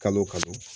Kalo o kalo